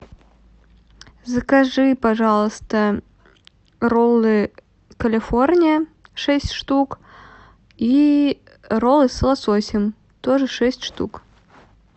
закажи пожалуйста роллы калифорния шесть штук и роллы с лососем тоже шесть штук